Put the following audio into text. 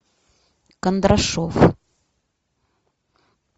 кондрашов